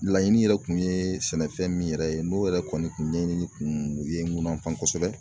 Laɲini yɛrɛ kun ye sɛnɛfɛn min yɛrɛ ye n'o yɛrɛ kɔni kun ɲɛɲini kun ye mun na f'an kosɛbɛ